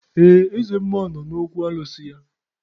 Ee, eze mmụọ nọ n'okwu alụsị ya